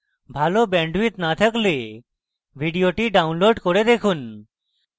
ভাল bandwidth না থাকলে ভিডিওটি download করে দেখুন